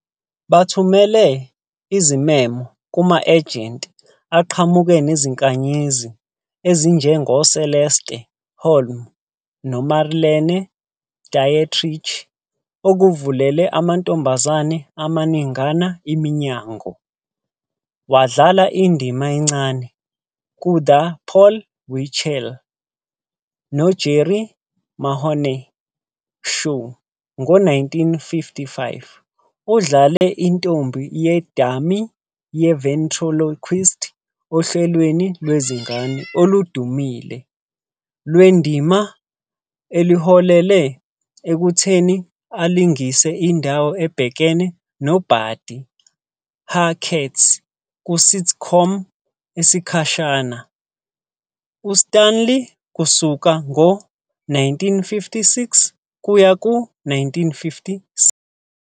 Bathumele izimemo kuma-ejenti, aqhamuke nezinkanyezi ezinjengoCeleste Holm noMarlene Dietrich, okuvulele amantombazane amaningana iminyango. Wadlala indima encane "kuThe Paul Winchell noJerry Mahoney Show" ngo-1955. Udlale intombi yedummy ye-ventriloquist ohlelweni lwezingane oludumile. Le ndima iholele ekutheni alingise indawo ebhekene noBuddy Hackett ku-sitcom esikhashana "uStanley" kusuka ngo-1956 kuya ku-1957.